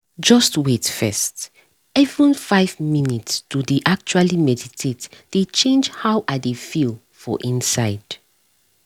just wait first — even five minutes to dey actually meditate dey change how i dey feel for inside